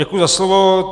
Děkuji za slovo.